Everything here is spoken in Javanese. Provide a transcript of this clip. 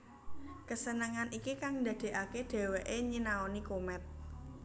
Kesenengan iki kang ndadekake dheweke nyinaoni komet